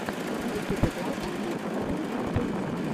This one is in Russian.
в ютубе классненький новые клипы